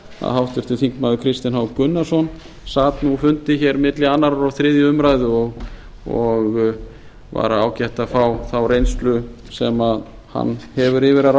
háttvirtur þingmaður kristinn h gunnarsson sat nú fundi hér milli annars og þriðju umræðu og var ágætt að fá þá reynslu sem hann hefur yfir að